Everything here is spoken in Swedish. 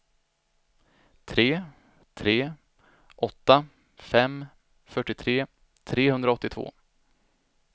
tre tre åtta fem fyrtiotre trehundraåttiotvå